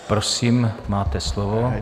Prosím, máte slovo.